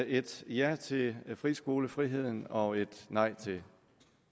et ja til friskolefriheden og et nej til